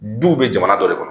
Duw bɛ jamana dɔ de kɔnɔ